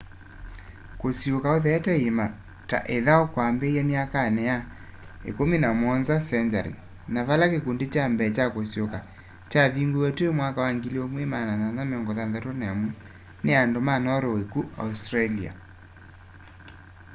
kusiuuka utheete iĩma ta ithau kwambĩĩe myakanĩ ya 17th century na vala kĩkũndi kya mbee kya kusiuuka kyavingũiwe twi1861 nĩ andũ ma norway ku australia